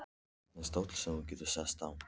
Þarna er stóll sem þú getur sest á.